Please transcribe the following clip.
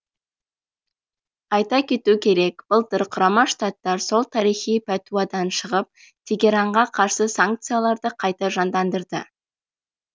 айта кету керек былтыр құрама штаттар сол тарихи пәтуадан шығып тегеранға қарсы санкцияларды қайта жандандырды